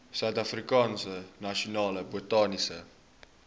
suidafrikaanse nasionale botaniese